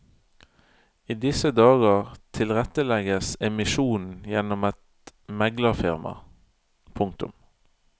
I disse dager tilrettelegges emisjonen gjennom et meglerfirma. punktum